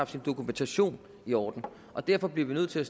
sin dokumentation i orden og derfor bliver vi nødt til at